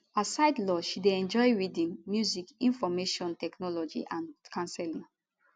aside law she dey enjoy reading music information technology and counselling